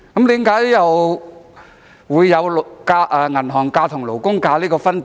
為何有"銀行假"與"勞工假"的分別？